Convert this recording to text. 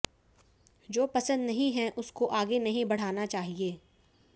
जो पसंद नहीं है उसको आगे नहीं बढ़ाना चाहिए